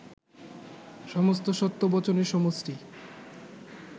সমস্ত সত্য বচনের সমষ্টি